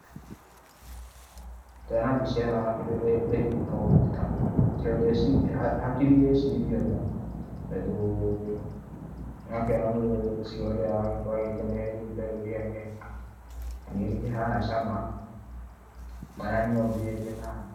Ndona mbica ĩno na kĩndũ ndaigua no hũta, hakiri ireciria o nda, tondũ nĩ ũrakĩona mũndũ ũcio ũrĩa aragĩkorwo akĩmereria itunda rĩu rĩake, nĩ rĩkĩhana cama, o na niĩ no ngĩende o na niĩ.